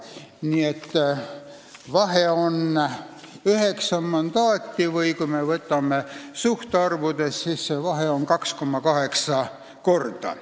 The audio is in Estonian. Nii et vahe on üheksa mandaati või kui me vaatame suhtarve, siis see vahe on 2,8 korda.